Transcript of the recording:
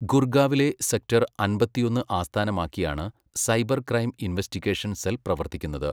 ഗുർഗാവിലെ sector അമ്പത്തിയൊന്ന് ആസ്ഥാനമാക്കിയാണ് cyber crime investigation cell പ്രവർത്തിക്കുന്നത്.